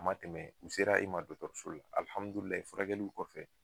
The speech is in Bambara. A ma tɛmɛ , u sera e ma dɔgɔtɔrɔso la furakɛliw kɔfɛ